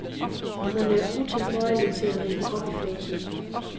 Hun er utilbøjelig til at rippe op i fortiden.